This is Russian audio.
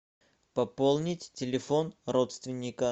пополнить телефон родственника